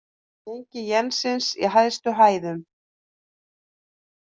Gengi jensins í hæstu hæðum